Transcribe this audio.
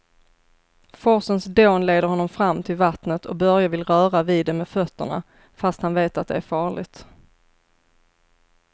Forsens dån leder honom fram till vattnet och Börje vill röra vid det med fötterna, fast han vet att det är farligt.